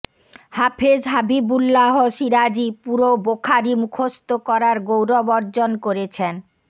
হাফেজ হাবিবুল্লাহ সিরাজী পুরো বোখারি মুখস্থ করার গৌরব অর্জন করেছেন